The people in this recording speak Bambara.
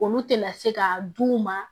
Olu tɛna se ka d'u ma